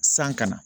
San kana